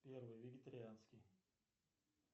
первый вегетарианский